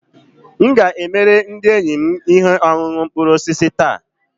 M ga-emere ndị enyi m ihe ọṅụṅụ mkpụrụ osisi taa